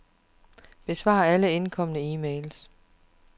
Besvar alle indkomne e-mails.